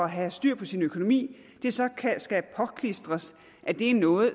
have styr på sin økonomi så skal påklistres at det er noget